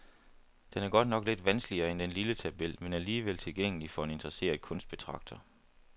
Den er godt nok lidt vanskeligere end den lille tabel, men alligevel tilgængelig for en interesseret kunstbetragter.